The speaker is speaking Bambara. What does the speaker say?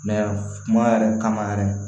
kuma yɛrɛ kama yɛrɛ